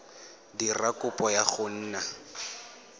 dira kopo ya go nna